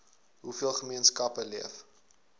hoeveel gemeenskappe leef